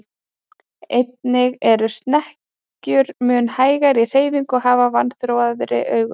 Einnig eru snekkjur mun hægari í hreyfingum og hafa vanþróaðri augu.